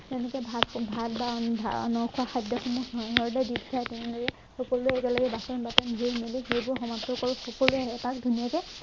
তেনেকে ভাত ভাত বা ন খোৱা খাদ্য়খিনি সকলোৱে একেলগে বাচন বৰ্তন ধুই মেলি সেইবোৰ সমাপ্ত কৰি পিছলে এপাক ধুনীয়াকে